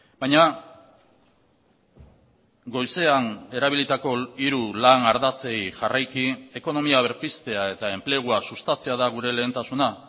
baina goizean erabilitako hiru lan ardatzei jarraiki ekonomia berpiztea eta enplegua sustatzea da gure lehentasuna